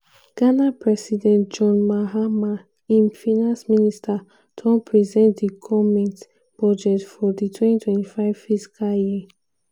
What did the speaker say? ghana president john mahama im finance minister don present di goment budget for di 2025 fiscal year.